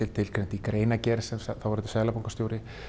tilgreint í greinargerð sem þáverandi seðlabankastjóri